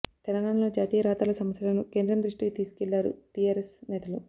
తెలంగాణలో జాతీయ రహదారుల సమస్యలను కేంద్రం దృష్టికి తీసుకెళ్లారు టీఆర్ఎస్ నేతలు